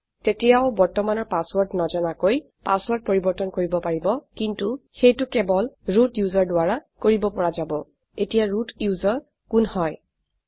তেতিয়াও বৰ্তমানৰ পাছৱৰ্ৰদ নাজানাকৈ পাছৱৰ্ৰদ পৰিবৰ্তন কৰিব পাৰিব কিন্তু সেইটো কেবল ৰুট ওচেৰ দ্বাৰা কৰিব পৰা যাব এতিয়া ৰুট ওচেৰ কোন হয়160